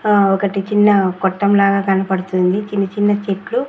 ఆ ఒకటి చిన్న కొట్టం లాగా కన్పడ్తుంది చిన్న చిన్న చెట్లు--